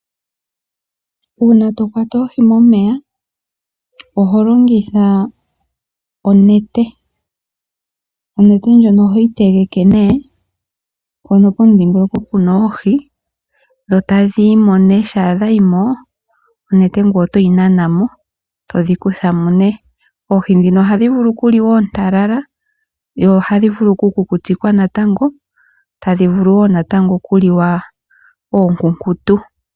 Uuna to kwata oohi momeya oho longitha onete. Onete ndjoka ohoyi tege pomudhingoloko mpoka pu na oohi dho tadhi yi mo nduno. Shampa dha yi mo onete oho yi nana mo e todhi kutha mo. Oohi ndhino ohadhi vulu okuliwa oontalala, ohadhi vulu okukutikwa dho ohadhi vulu okuliwa oonkunkutu.